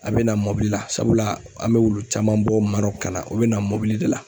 A bɛ na mɔbili la sabula an bɛ olu caman bɔ Maroc ka na u bɛ na mobili de la.